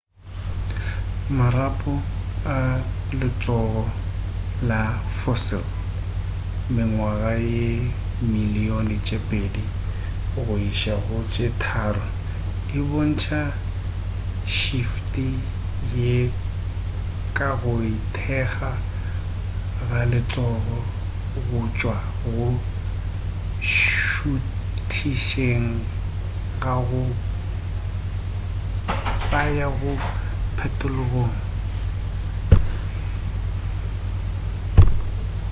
marapo a letsogo la fossil mengwaga ye dimilion tše pedi go iša go tše tharo e bontša šefte ye ka go ikgetha ga letsogo go tšwa go šuthišeng go ya go phetolelong